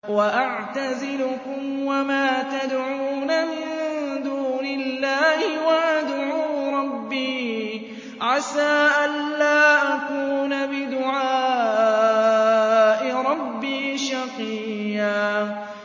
وَأَعْتَزِلُكُمْ وَمَا تَدْعُونَ مِن دُونِ اللَّهِ وَأَدْعُو رَبِّي عَسَىٰ أَلَّا أَكُونَ بِدُعَاءِ رَبِّي شَقِيًّا